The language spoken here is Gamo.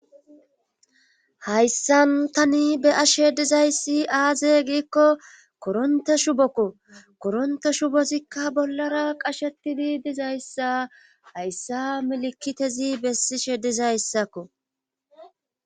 hayssan tani be ashe dizayssi aaze giikko koronte shubokko koronte shubozikka bollara qashetidi dizayssa hayssa milikitezi bessi she dizayssakko